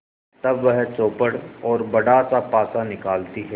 तब वह चौपड़ और बड़ासा पासा निकालती है